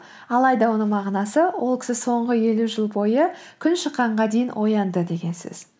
алайда оның мағынасы ол кісі соңғы елу жыл бойы күн шыққанға дейін оянды деген сөз